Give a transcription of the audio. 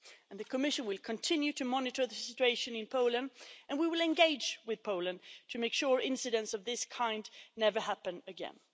The Commission will continue to monitor the situation in Poland, and we will engage with Poland to make sure incidents of this kind never happen again.